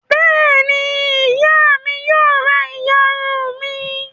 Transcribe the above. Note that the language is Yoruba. Bẹ́ẹ̀ ni, ìyá mi yóò ra ìyarun mi.